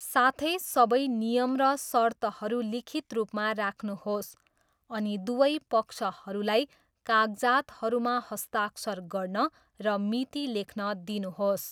साथै, सबै नियम र सर्तहरू लिखित रूपमा राख्नुहोस्, अनि दुवै पक्षहरूलाई कागजातहरूमा हस्ताक्षर गर्न र मिति लेख्न दिनुहोस्।